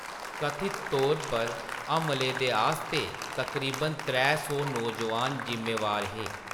कथित तौर पर हमलें दे आस्तै तकरीबन त्रै सौ नौजोआन ज़िम्मेवार हे।